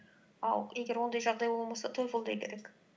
ал егер ондай жағдай болмаса тойфул да керек